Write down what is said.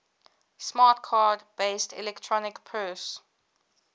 smart card based electronic purse